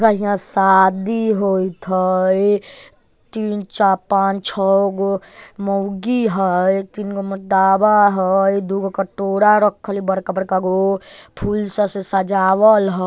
गाइस इहाँ शादी होइत हई तीन चा पांच छोगो मौगी हई तीनगो हई दुगो कटोरा रखल हई बड़का-बड़कागो फूल से सजावल --